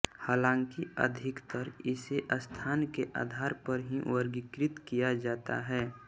हालांकि अधिकतर इसे स्थान के आधार पर ही वर्गीकृत किया जाता है